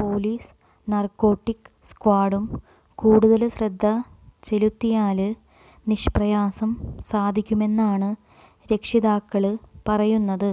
പോലീസും നാര്കോട്ടിക് സ്ക്വാഡും കൂടുതല് ശ്രദ്ധ ചെലുത്തിയാല് നിഷ്പ്രയാസം സാധിക്കുമെന്നാണ് രക്ഷിതാക്കള് പറയുന്നത്